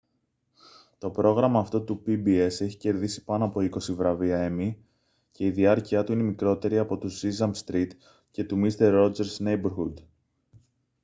to πρόγραμμα αυτό του pbs έχει κερδίσει πάνω από είκοσι βραβεία emmy και η διάρκειά του είναι μικρότερη από του sesame street και του mister rogers' neighborhood